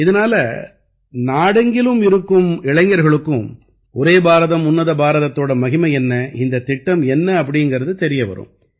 இதனால நாடெங்கிலும் இருக்கும் இளைஞர்களுக்கும் ஒரே பாரதம் உன்னத பாரதத்தோட மகிமை என்ன இந்தத் திட்டம் என்ன அப்படீங்கறது தெரிய வரும்